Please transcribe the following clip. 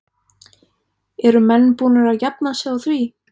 Eru menn búnir að jafna sig á því?